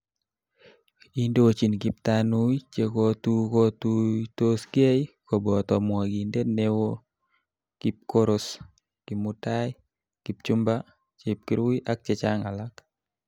Indochin kiptanui chekotukotuitosgei koboto mwokindet neo kipkoros, kimutai kipchumba, chepkurui ak chechang alak